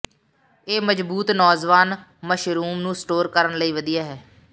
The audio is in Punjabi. ਇਹ ਮਜ਼ਬੂਤ ਨੌਜਵਾਨ ਮਸ਼ਰੂਮ ਨੂੰ ਸਟੋਰ ਕਰਨ ਲਈ ਵਧੀਆ ਹੈ